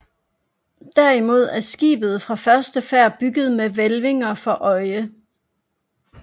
Derimod er skibet fra første færd bygget med hvælvinger for øje